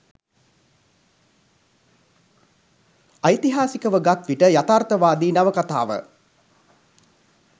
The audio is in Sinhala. ඓතිහාසිකව ගත්විට යථාර්ථවාදී නවකතාව